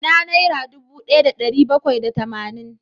Ina naira dubu daya da dari bakwai da tamanin?